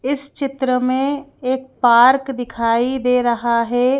इस चित्र में एक पार्क दिखाई दे रहा है।